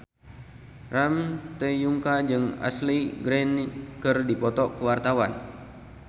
Ramon T. Yungka jeung Ashley Greene keur dipoto ku wartawan